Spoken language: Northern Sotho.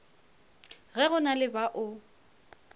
ge go na le bao